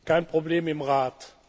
Kein Problem im Rat.